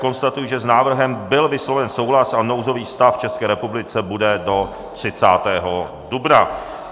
Konstatuji, že s návrhem byl vysloven souhlas a nouzový stav v České republice bude do 30. dubna.